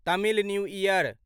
Tamil new year